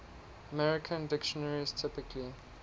american dictionaries typically